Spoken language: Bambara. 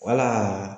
Wala